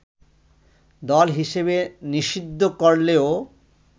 দল হিসেবে নিষিদ্ধ করলেও